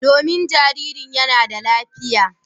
Domin jaririn yana da lafiya.